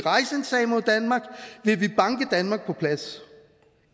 vil vil banke danmark på plads